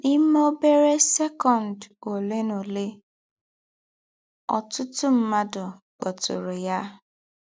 N’ímè ọ́bérẹ́ sɛ́kọ̀nd ọ̀lè nà ọ̀lè, ọ̀tụ̀tụ̀ mmádụ̀ kpọ̀tụ̀rụ̀ yá.